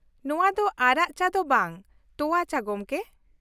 ᱱᱚᱶᱟ ᱫᱚ ᱟᱨᱟᱜ ᱪᱟ ᱫᱚ ᱵᱟᱝ ᱛᱳᱣᱟ ᱪᱟ, ᱜᱚᱝᱠᱮ ?